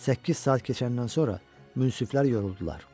Səkkiz saat keçəndən sonra münsiflər yoruldular.